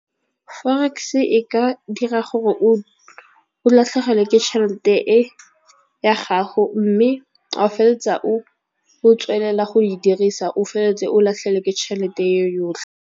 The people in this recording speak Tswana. Forex e ka dira gore o latlhegelwe ke tšhelete e ya gago, mme a o feleletsa o tswelela go e dirisa o feleletse o latlhelwe ke tšhelete ye yotlhe.